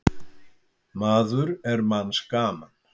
Maður er manns gaman.